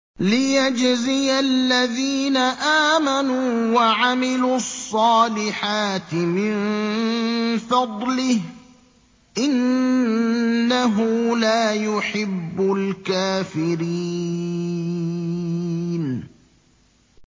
لِيَجْزِيَ الَّذِينَ آمَنُوا وَعَمِلُوا الصَّالِحَاتِ مِن فَضْلِهِ ۚ إِنَّهُ لَا يُحِبُّ الْكَافِرِينَ